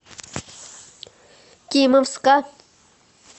кимовска